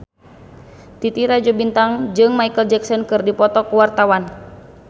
Titi Rajo Bintang jeung Micheal Jackson keur dipoto ku wartawan